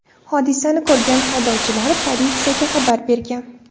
Hodisani ko‘rgan haydovchilar politsiyaga xabar bergan.